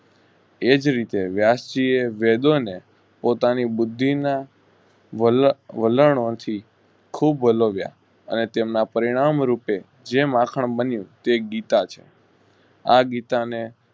એજ રીતે વ્યાસ જીયે વેદોને પોતાની બુદ્ધિના વલ~વલણોથી ખુબ વલોવ્યા અને તેમ ના પરિણામ રૂપે જે માખણ બન્યું તેગીતા છે. આ ગીતાને